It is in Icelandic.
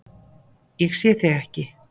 Ég sé þig ekki.